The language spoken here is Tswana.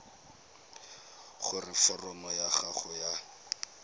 gore foromo ya gago ya